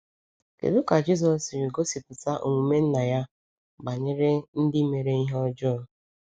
Kedu ka Jisọs siri gosipụta omume Nna ya banyere ndị mere ihe ọjọọ?